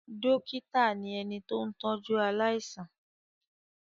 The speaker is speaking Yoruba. Dọ́kítá ni ẹni tó ń tọ́jú aláìsàn.